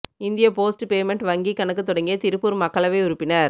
India post payment வங்கிக் கணக்கு தொடங்கிய திருப்பூா் மக்களவை உறுப்பினா்